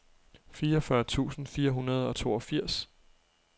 fireogfyrre tusind fire hundrede og toogfirs